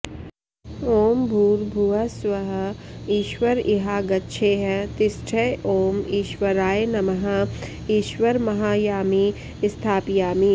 ॐ भूर्भुवः स्वः ईश्वर इहागच्छेह तिष्ठ ॐ ईश्वराय नमः ईश्वरमाहयामि स्थापयामि